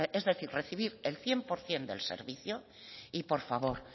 es decir recibir el cien por ciento del servicio y por favor